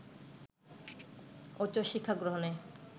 উচ্চশিক্ষা গ্রহণে